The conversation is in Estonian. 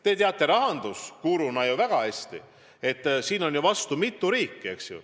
Te teate rahandusguruna ju väga hästi, et vastu on mitu riiki.